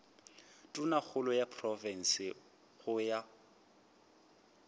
tonakgolo ya profense go ya